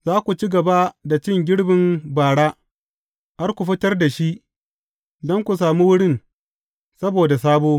Za ku ci gaba da cin girbin bara, har ku fitar da shi don ku sami wurin saboda sabo.